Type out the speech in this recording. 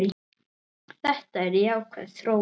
Þetta er jákvæð þróun.